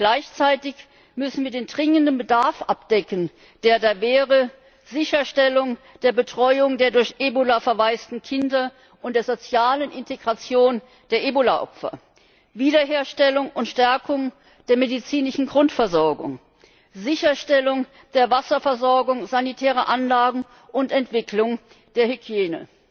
Gleichzeitig müssen wir den dringenden Bedarf abdecken, der da wäre Sicherstellung der Betreuung der durch Ebola verwaisten Kinder und der sozialen Integration der Ebola Opfer, Wiederherstellung und Stärkung der medizinischen Grundversorgung, Sicherstellung der Wasserversorgung, sanitäre Anlagen und Entwicklung der Hygiene.